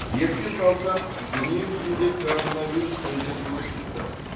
еске салсақ дүниежүзінде коронавирус індеті өршіп тұр